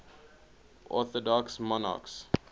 orthodox monarchs